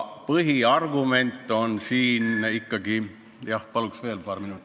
Palun paar minutit juurde!